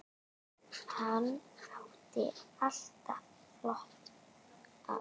Hann átti alltaf flotta bíla.